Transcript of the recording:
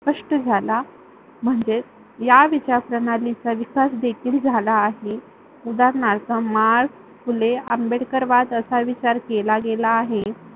स्पष्ठ झाला म्हणजे या विचार प्रणालीचा विकास देखील झाला आहे. उदारणार्थ मास, फुले, आंबेडकरवाद असा विचार केला गेला आहे.